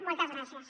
moltes gràcies